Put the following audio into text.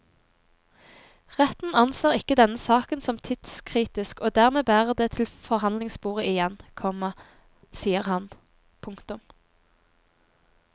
Retten anser ikke denne saken som tidskritisk og dermed bærer det til forhandlingsbordet igjen, komma sier han. punktum